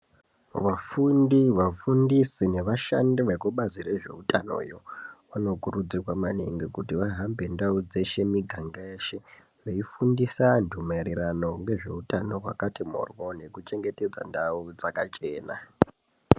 Vafundi vafundisi nevashandi vekubazi rezveutanoyo vanokurudzirwa maningi kuti vahambe ndau dzeshe muganga yeshe veifundisa antu maererano ngezveutano hwakati moryo nekuchengetedza ndau dzakachena.